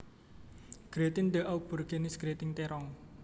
Gratin d Aubergines gratin terong